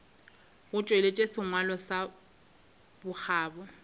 go tšweletša sengwalo sa bokgabo